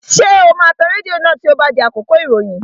Ṣé o máa tan rédíò náà tí ó bá di àkókò ìròyìn?